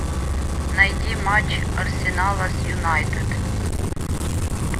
найди матч арсенала с юнайтед